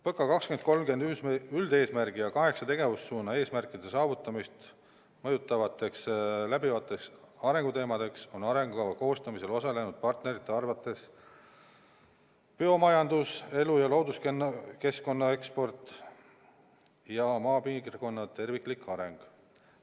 PõKa 2030 üldeesmärgi ja kaheksa tegevussuuna eesmärkide saavutamist mõjutavateks läbivateks arendusteemadeks on arengukava koostamisel osalenud partnerite arvates biomajandus, elu- ja looduskeskkond, eksport ja maapiirkonna terviklik areng.